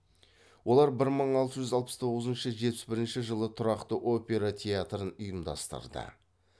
олар бір мың алты жүз алпыс тоғызыншы жетпіс бірінші жылы тұрақты опера театрын ұйымдастырды